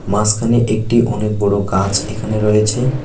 মাঝখানে একটি অনেক বড়ো গাছ এখানে রয়েছে।